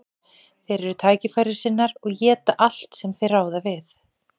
Þeir eru tækifærissinnar og éta allt sem þeir ráða við.